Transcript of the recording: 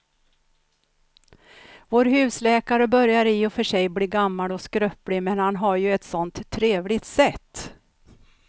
Vår husläkare börjar i och för sig bli gammal och skröplig, men han har ju ett sådant trevligt sätt!